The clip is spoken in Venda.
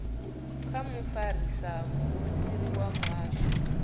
kha mufarisa muofisiri wa muhasho